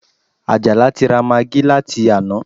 Àjàlá ti ra magí láti àná